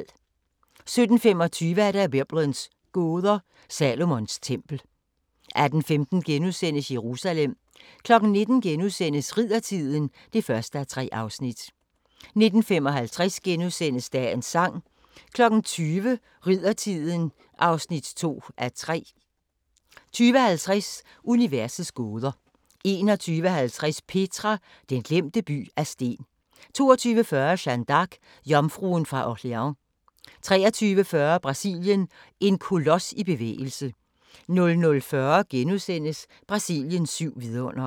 17:25: Biblens gåder – Salomons tempel 18:15: Jerusalem * 19:00: Riddertiden (1:3)* 19:55: Dagens Sang * 20:00: Riddertiden (2:3) 20:50: Universets gåder 21:50: Petra – den glemte by af sten 22:40: Jeanne d'Arc – jomfruen fra Orleans 23:40: Brasilien – en kolos i bevægelse 00:40: Brasiliens syv vidundere *